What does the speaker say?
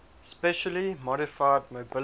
specially modified mobility